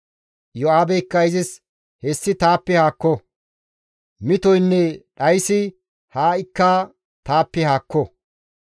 Iyo7aabeykka izis, «Hessi taappe haakko! Mitoynne dhaysi ha7ikka taappe haakko!